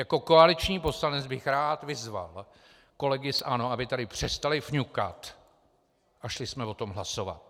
Jako koaliční poslanec bych rád vyzval kolegy z ANO, aby tady přestali fňukat a šli jsme o tom hlasovat.